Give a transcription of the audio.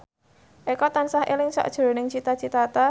Eko tansah eling sakjroning Cita Citata